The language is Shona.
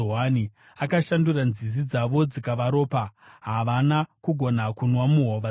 Akashandura nzizi dzavo dzikava ropa; havana kugona kunwa muhova dzavo.